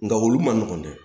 Nka olu man nɔgɔn dɛ